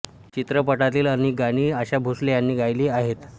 चित्रपटातील अनेक गाणी आशा भोसले यांनी गायली आहेत